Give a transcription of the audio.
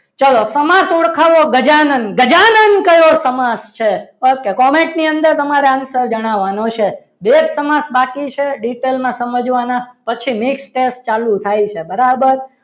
ચાલો સમાસ ઓળખાવો ગજાનંદ ગજાનંદ કયો સમાસ છે ઓકે comment ની અંદર તમારે answer જણાવવાનો છે જો એક બાકી છે detail માં સમાજવા ના પછી next step ચાલુ થાય છે બરાબર?